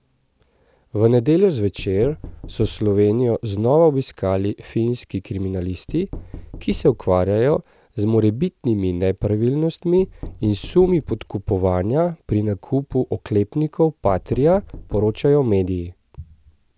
V nedeljo zvečer so Slovenijo znova obiskali finski kriminalisti, ki se ukvarjajo z morebitnimi nepravilnostmi in sumi podkupovanja pri nakupu oklepnikov patria, poročajo mediji.